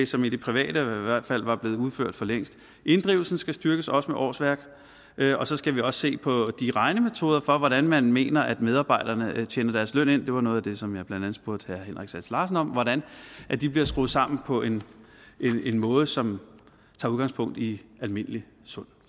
som i det private i hvert fald var blevet udført for længst inddrivelsen skal styrkes også med årsværk og så skal vi også se på de regnemetoder for hvordan man mener at medarbejderne tjener deres løn ind det var noget af det som jeg blandt andet spurgte herre henrik sass larsen om hvordan de bliver skruet sammen på en måde som tager udgangspunkt i almindelig sund